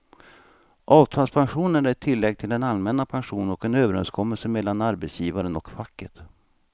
Avtalspensionen är ett tillägg till den allmänna pensionen och en överenskommelse mellan arbetsgivaren och facket.